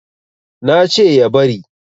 na ce ya bari